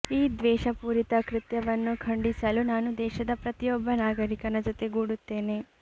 ಈ ದ್ವೇಷಪೂರಿತ ಕೃತ್ಯವನ್ನು ಖಂಡಿಸಲು ನಾನು ದೇಶದ ಪ್ರತಿಯೊಬ್ಬ ನಾಗರಿಕನ ಜೊತೆಗೂಡುತ್ತೇನೆ